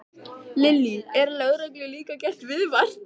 Lillý: Er lögreglu líka gert viðvart?